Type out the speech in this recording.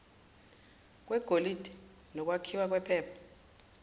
kwegolide nokwakhiwa kwephepha